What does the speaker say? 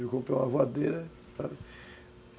Eu comprei uma voadeira, sabe